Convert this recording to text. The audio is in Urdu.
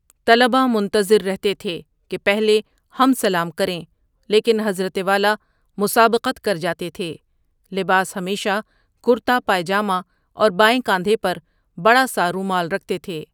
طلبہ منتظر رہتے تھے کہ پہلے ہم سلام کریں لیکن حضرت والا مسابقت کرجاتے تھے لباس ہمیشہ کرتا، پائجامہ اور بائیں کاندھے پر بڑا سا رومال رکھتے تھے۔